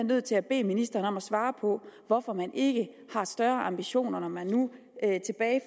nødt til at bede ministeren om at svare på hvorfor man ikke har større ambitioner når man nu